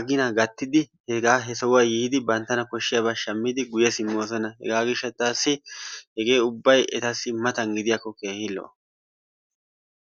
agina gaattid hegaa he sohuwaa yiidi issibaa banttana kooshidabaa shaammidi guye simoosona. Hegaa giishshataasi hegee ubbay etassi matan gidiyaako keehi lo"o.